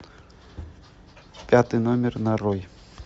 пятый номер нарой